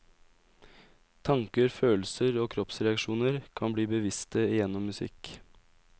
Tanker, følelser og kroppsreaksjoner kan bli bevisste gjennom musikk.